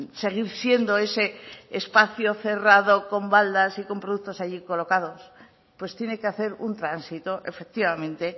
seguir siendo ese espacio cerrado con baldas y con productos allí colocados pues tiene que hacer un tránsito efectivamente